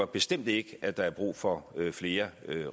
bestemt ikke at der er brug for flere